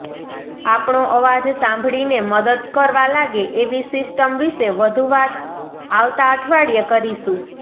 આપણો અવાજ સાંભળીને મદદ કરવા લાગે એવી સિસ્ટમ વિશે વધુ વાત આવતા અઠવાડિયે કરીશું